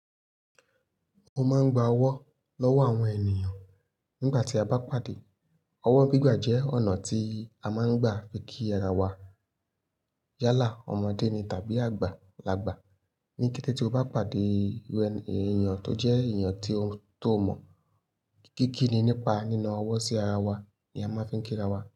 Mo máa ń gba ọwọ́ lọ́wọ́ àwọn ènìyàn nígbà tí a bá pàdé. Ọwọ́ gbígbà jẹ́ ọ̀nà tí a máa ń gbà fi kí ara wa yálà. Ọmọdé ni tàbí àgbà lagbà, ní kété tí o bá pàdé èeyàn tó jẹ́ èeyàn tó mọ̀, kíkí ni nípa nína ọwọ́ sí ara wa ni a máa ń fi ń kí ara wa.